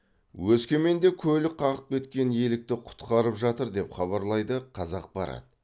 өскеменде көлік қағып кеткен елікті құтқарып жатыр деп хабарлайды қазақпарат